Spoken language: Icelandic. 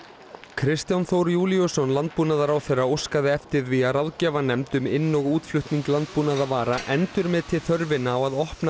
Kristján Þór Júlíusson landbúnaðarráðherra óskaði eftir því að ráðgjafarnefnd um inn og útflutning landbúnaðarvara endurmeti þörfina á að opna